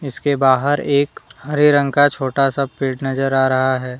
उसके बाहर एक हरे रंग का छोटा सा पेड़ नजर आ रहा है।